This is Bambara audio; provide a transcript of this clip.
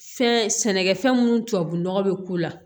Fɛn sɛnɛkɛfɛn minnu tubabunɔgɔ bɛ k'u la